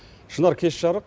шынар кеш жарық